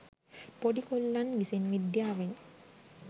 පොඩි කොල්ලන් විසින් විද්‍යාවෙන්